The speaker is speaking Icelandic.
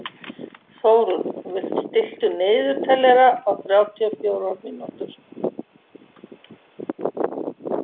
Þórunn, stilltu niðurteljara á þrjátíu og fjórar mínútur.